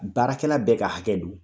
Baarakɛla bɛɛ ka hakɛ don